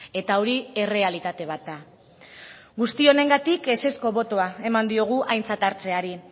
eta hori errealitate bat da guzti honengatik ezezko botoa eman diogu aintzat hartzeari